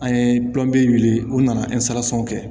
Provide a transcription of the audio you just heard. An ye wuli u nana kɛ